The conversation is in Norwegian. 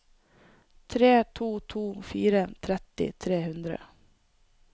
tre to to fire tretti tre hundre